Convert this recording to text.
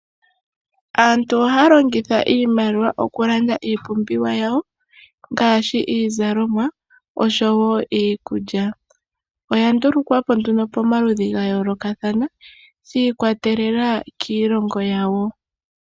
Aantu ohaya longitha iimaliwa okulanda iipumbiwa yawo ngaashi iizalomwa osho wo iikulya. Oya ndulukwa po nduno pomaludhi ga yoolokathana, shikwatelela kiilongo yawo.